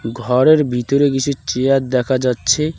ঘরের ভিতরে কিছু চেয়ার দেখা যাচ্ছে।